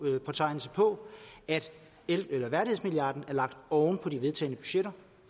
at værdighedsmilliarden er lagt oven på de vedtagne budgetter